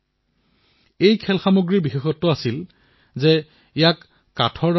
কিন্তু এই গেমবোৰৰ বিষয়বস্তু অধিকাংশই বাহিৰৰ হয়